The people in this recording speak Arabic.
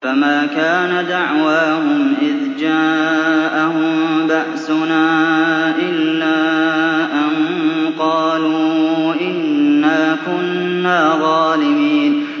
فَمَا كَانَ دَعْوَاهُمْ إِذْ جَاءَهُم بَأْسُنَا إِلَّا أَن قَالُوا إِنَّا كُنَّا ظَالِمِينَ